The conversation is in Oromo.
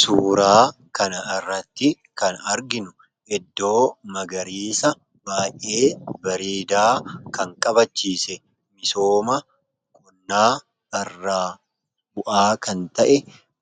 Suuraa kanarratti kan arginu iddoo magariisa baay'ee bareedaa kan qabachiise misoomadha.